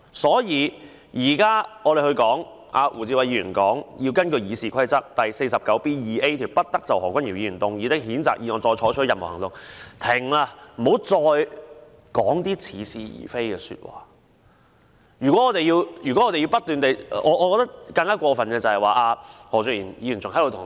胡志偉議員現在根據《議事規則》第 49B 條提出議案，要求不得就何君堯議員動議的譴責議案再採取任何行動，就是希望事情到此為止，大家不要再說似是而非的話。